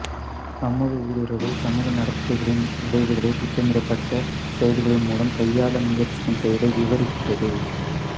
சமூக ஊடுருவல் சமூக நடத்தைகளின் விளைவுகளை திட்டமிடப்பட்ட செயல்களின் மூலம் கையாள முயற்சிக்கும் செயலை விவரிக்கிறது